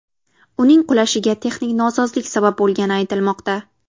Uning qulashiga texnik nosozlik sabab bo‘lgani aytilmoqda.